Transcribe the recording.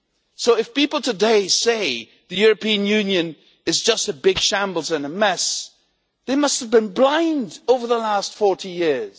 So if people today say the European Union is just a big shambles and a mess, they must have been blind over the last 40 years.